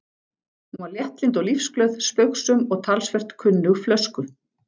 Hún var léttlynd og lífsglöð, spaugsöm og talsvert kunnug flösku.